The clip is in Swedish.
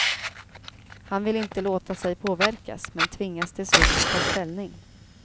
Han vill inte låta sig påverkas, men tvingas till slut ta ställning.